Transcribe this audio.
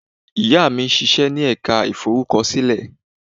Ìyá mi ń ṣíṣe ní ẹ̀ka ìforúkọsílẹ̀.